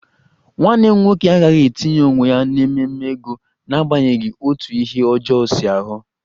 Nwanne m nwoke agaghị etinye onwe ya n'ememe ego n'agbanyeghị otú ihe ọjọọ si aghọ